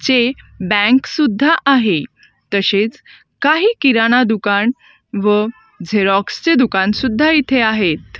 चे बँक सुद्धा आहे तसेच काही किराणा दुकान व झेरॉक्स चे दुकान सुद्धा इथे आहेत.